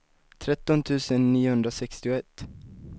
tretton tusen niohundrasextioett